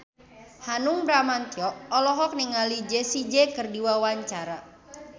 Hanung Bramantyo olohok ningali Jessie J keur diwawancara